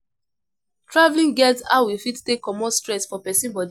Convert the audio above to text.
Travelling get how e fit take comot stress for person body